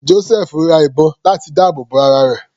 Josẹfu ra ìbọn láti dáàbò bo ara rẹ̀.